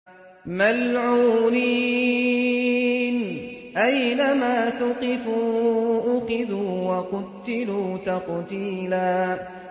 مَّلْعُونِينَ ۖ أَيْنَمَا ثُقِفُوا أُخِذُوا وَقُتِّلُوا تَقْتِيلًا